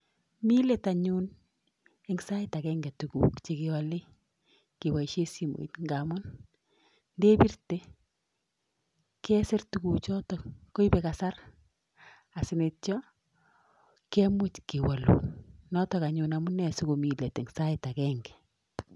Mii let anyun eng sait agege tukuk chekealei kebaishe simoit amun ndebirte, kesir tukuk chotok koibei kasar asi neityo kemuch kewalun, notok anyun amune sikomi let eng sait agege.